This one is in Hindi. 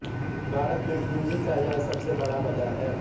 भारत में पूंजी का यह सबसे बड़ा बाजार है